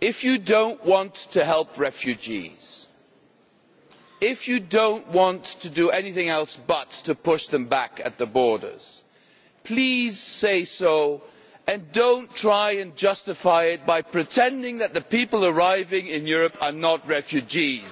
if you do not want to help refugees, if you do not want to do anything else but push them back at the borders, please say so and do not try to justify it by pretending that the people arriving in Europe are not refugees.